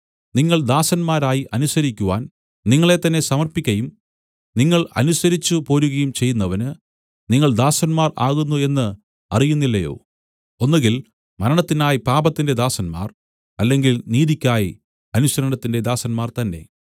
നിങ്ങൾ ദാസന്മാരായി അനുസരിക്കുവാൻ നിങ്ങളെത്തന്നേ സമർപ്പിക്കയും നിങ്ങൾ അനുസരിച്ചു പോരുകയും ചെയ്യുന്നവന് നിങ്ങൾ ദാസന്മാർ ആകുന്നു എന്നു അറിയുന്നില്ലയോ ഒന്നുകിൽ മരണത്തിനായി പാപത്തിന്റെ ദാസന്മാർ അല്ലെങ്കിൽ നീതിയ്ക്കായി അനുസരണത്തിന്റെ ദാസന്മാർ തന്നേ